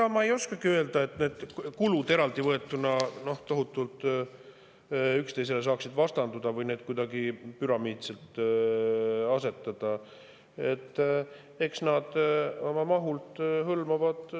Ega ma ei oskagi öelda, kas need kulud eraldi võetuna saaksid tohutult üksteisele vastanduda või kas neid saaks kuidagi püramiidselt asetada.